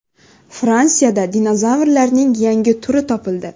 Fransiyada dinozavrlarning yangi turi topildi.